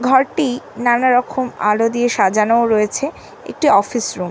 ঘর টি-ই নানারকম আলো দিয়ে সাজানোও রয়েছে একটি অফিস রুম --